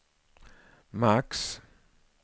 max